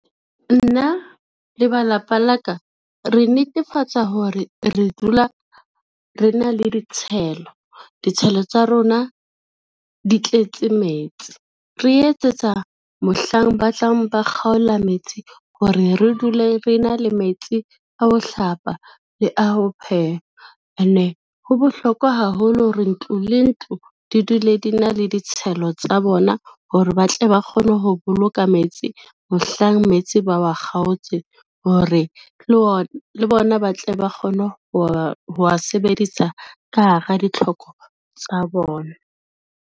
Nna le ba lapa la ka, re netefatsa hore re dula re na le ditshelo. Ditshelo tsa rona di tletse metsi, re etsetsa mohlang ba tlang ba kgaola metsi hore re dule re na le metsi a ho hlapa le a ho pheha ene ho bohlokwa haholo hore, ntlo le ntlo di dule di na le ditshelo tsa bona hore ba tle ba kgone ho boloka metsi mohlang metsi ba wa kgaotse hore, le bona ba tle ba kgone ho wa sebedisa ka hara ditlhoko tsa bona.